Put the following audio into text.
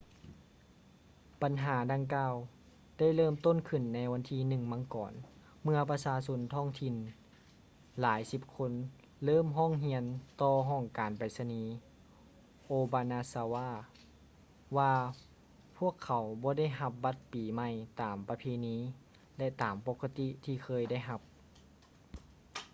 ບັນຫາດັ່ງກ່າວໄດ້ເລີ່ມຕົ້ນຂື້ນໃນວັນທີ 1 ມັງກອນ ເມື່ອປະຊາຊົນທ້ອງຖິ່ນຫຼາຍສິບຄົນເລີ່ມຮ້ອງຮຽນຕໍ່ຫ້ອງການໄປສະນີ obanazawa ວ່າພວກເຂົາບໍ່ໄດ້ຮັບບັດປີໃໝ່ຕາມປະເພນີ ແລະ ຕາມປົກກະຕິທີ່ເຄີຍໄດ້ຮັບ